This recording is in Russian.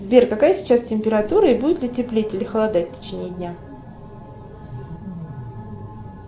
сбер какая сейчас температура и будет ли теплеть или холодать в течении дня